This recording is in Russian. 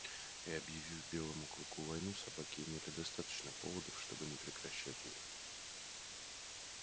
и объявив белому клыку войну собаки имели достаточно поводов чтобы не прекращать её